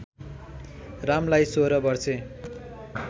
रामलाई सोह्र वर्षे